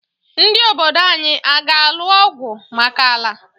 Ndị obodo anyị aga-alụ ọgwụ maka ala.